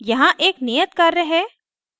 यहाँ एक नियत कार्य है